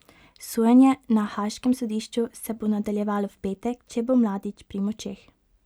Sojenje na haaškem sodišču se bo nadaljevalo v petek, če bo Mladić pri močeh.